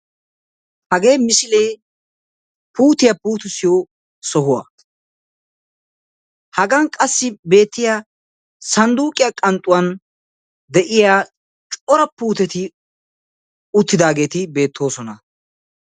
Hagee misilee puutiya puutissiyo sohuwaa. Hagan qassi betiya sandduqiya qanxxuwan de'iya cora puuteti uttidaget betosona.